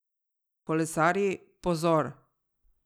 Kolesarji, pozor!